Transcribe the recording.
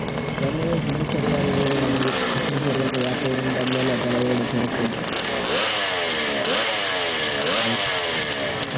तेच ना मग